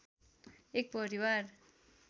एक परिवार